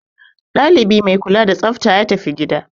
Dalibi mai kula da tsafta ya tafi gida.